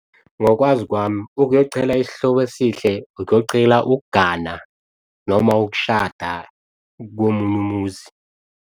Ngokwazi kwami ukuyocela isihlobo esihle, ukuyocela ukugana noma ukushada komunye umuzi.